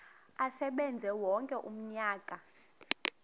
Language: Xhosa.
asebenze wonke umnyaka